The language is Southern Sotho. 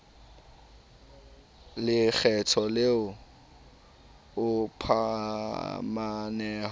le lekgetho le o phumaneho